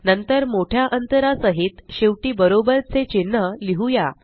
नंतर मोठ्या अंतरा सहित शेवटी बरोबर चे चिन्ह लिहुया